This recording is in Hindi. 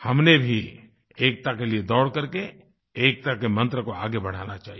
हमने भी एकता के लिए दौड़ करके एकता के मंत्र को आगे बढ़ाना चाहिए